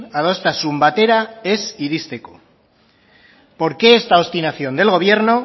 adostasun batera ez iristeko por qué esta obstinación del gobierno